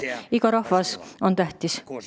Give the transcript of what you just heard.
Iga rahvas on tähtis.